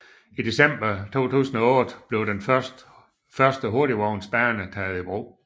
I december 2008 blev den første hurtigsporvognsbane taget i brug